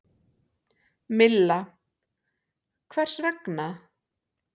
Milla: Hvers vegna?